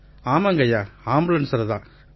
ஆமாங்கய்யா ஆம்புலன்ஸ்ல தான்